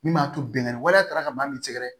Min b'a to binkanni waleya tara ka ban min sɛgɛrɛ